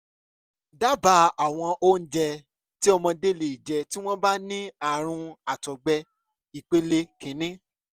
dábàá àwọn oúnjẹ tí ọmọdé lè jẹ tí wọ́n bá ní ààrùn àtọ̀gbẹ ìpele kìíní